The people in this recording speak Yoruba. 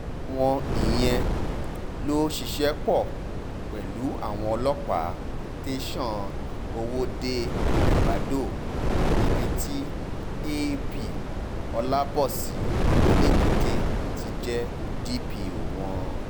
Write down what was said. àwọn ìyẹn ló ṣiṣẹ́ pọ̀ pẹ̀lú àwọn ọlọ́pàá tẹ̀sán ọwọ́de-ẹgbàdo níbi tí ap olabosi elébúté ti jẹ́ dọ̀pọ̀ wọn